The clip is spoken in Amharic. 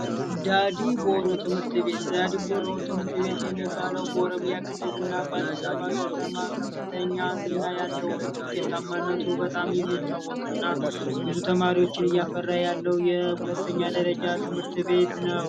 ዳዲቦሩ ትምህርት ቤት ዳዲቦሩ ትምህርት ቤት የሚባለው ትምህርት ቤት ኦሮሚያ ክልልና በአዲስ አበባ ከተማ ከፍተኛ ያለው ነው ውጤታማነቱ በጣም የሚታወቅና ብዙ ተማሪዎችን ያፈራ የሁለተኛ ደረጃ ትምህርት ቤት ነው።